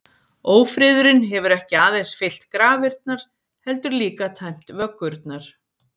Ófriðurinn hefur ekki aðeins fyllt grafirnar, heldur líka tæmt vöggurnar.